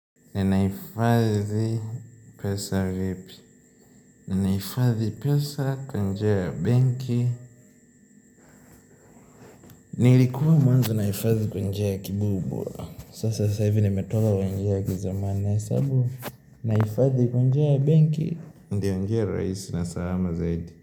Ninaifadhi pesa vipi. Ninaifadhi pesa kwa njia ya benki. Nilikuwa mwanzo nahifadhi kwa njia ya kibubura. Sasa sasa hivi nimetoka kwenye njia ya kizamani sababu Naifazi kwa njia ya banki. Ndiyo njia rahisi na salama zaidi.